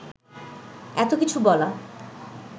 এত কিছু বলা